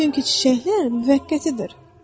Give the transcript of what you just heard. Çünki çiçəklər müvəqqətidir.